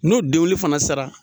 N'o denguli fana sara